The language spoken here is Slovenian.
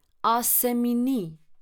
A se mi ni.